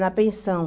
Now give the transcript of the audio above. Na pensão.